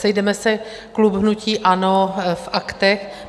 Sejdeme se - klub hnutí ANO - v Aktech.